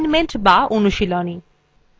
assignment বা অনুশীলনী